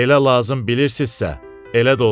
Elə lazım bilirsizsə, elə də olsun.